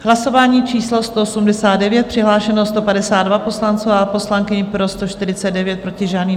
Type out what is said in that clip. Hlasování číslo 189, přihlášeno 152 poslanců a poslankyň, pro 149, proti žádný.